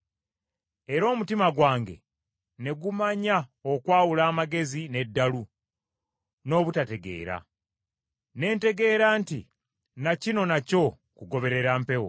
Era omutima gwange ne gumanya okwawula amagezi n’eddalu, n’obutategeera. Ne ntegeera nti na kino nakyo kugoberera mpewo.